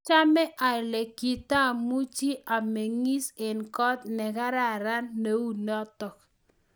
achame ale kitamuchi amengis eng' kot ne karan neu notok